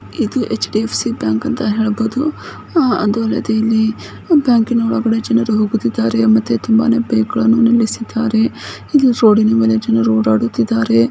ಇದು HDFC bank ಅಂತ ಹೇಳಬಹುದು ಅದೇ ರೀತಿ ಇಲ್ಲಿ ಬ್ಯಾಂಕಿ ನ ಒಳಗಡೆ ಜನರು ಹೋಗ್ತಾ ಇದ್ದಾರೆ ಇಲ್ಲಿ ತುಂಬಾನೇ ಪೇಪರ್ ಎಸಿತ ಇದ್ದಾರೆ ರೂಢಿ ಮೇಲೆ ಜನ ಓಡಾಡುತ್ತಿದ್ದಾರೆ.